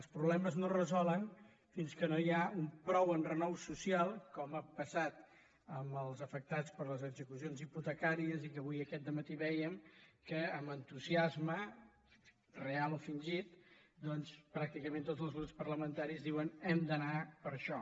els problemes no es resolen fins que no hi ha prou enrenou social com ha passat amb els afectats per les execucions hipotecàries i que avui aquest dematí vèiem que amb entusiasme real o fingit doncs pràcticament tots els grups parlamenta·ris diuen hem d’anar per això